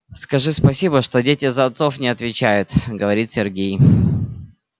скажи спасибо что дети за отцов не отвечают говорит сергей